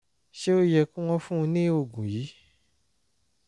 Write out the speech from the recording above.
ṣé ó yẹ kí wọ́n fún un ní oògùn yìí?